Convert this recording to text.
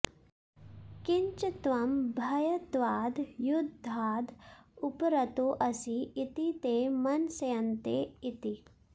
किञ्च त्वं भयत्वाद् युद्धाद् उपरतोऽसि इति ते मंस्यन्ते इति